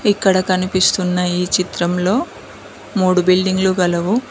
ఇక్కడ కనిపిస్తున్న ఈ చిత్రంలో మూడు బిల్డింగులు గలవు.